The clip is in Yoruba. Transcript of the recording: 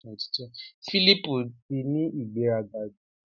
Philip ti ni ìgbéraga jù.